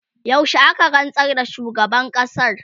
yaushe aka rantsar da shugaban ƙasar?